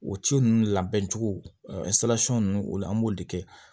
O ci ninnu labɛn cogo ninnu o la an b'olu de kɛ